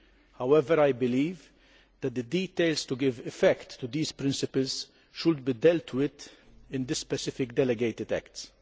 However, I believe that the details to give effect to these principles should be dealt with in the specific delegated acts.